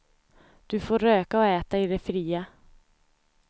Du får röka och äta i det fria.